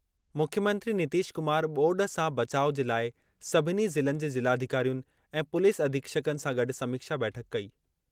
मुख्यमंत्री नीतीश कुमार ॿोॾु सां बचाउ जे लाइ सभिनी ज़िलनि जे ज़िलाधिकारियुनि ऐं पुलिस अधीक्षकनि सां गॾु समीक्षा बैठक कई।